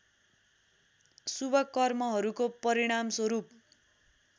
शुभ कर्महरूको परिणामस्वरूप